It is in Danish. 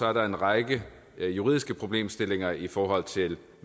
er der en række juridiske problemstillinger i forhold til